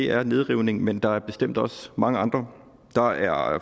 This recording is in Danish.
er nedrivning men der er bestemt også mange andre